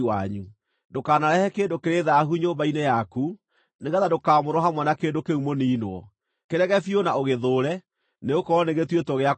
Ndũkanarehe kĩndũ kĩrĩ thaahu nyũmba-inĩ yaku, nĩgeetha ndũkaamũrwo hamwe na kĩndũ kĩu mũniinwo. Kĩrege biũ na ũgĩthũũre, nĩgũkorwo nĩgĩtuĩtwo gĩa kũniinwo.